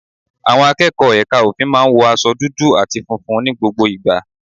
Àwọn akẹ́kọ̀ọ́ Ẹka ofin maá n wọ aṣọ dudu ati funfun ní gbogbo ìgbà.